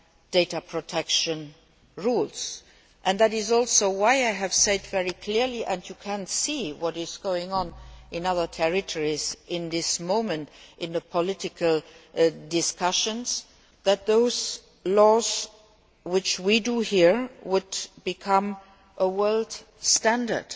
data protection rules and why I have said very clearly and you can see what is going on in other territories at the moment in the political discussions that those laws which we make here will become a world standard.